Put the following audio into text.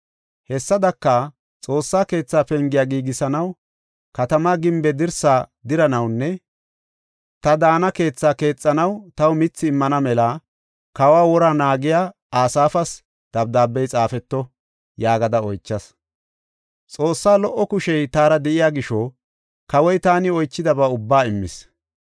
Hessadaka, “Xoossa keetha pengiya giigisanaw, katamaa gimbe dirsaa diranawunne ta daana keethaa keexanaw taw mithi immana mela kawo wora naagiya Asaafas dabdaabey xaafeto” yaagada oychas. Xoossaa lo77o kushey taara de7iya gisho kawoy taani oychidaba ubba immis.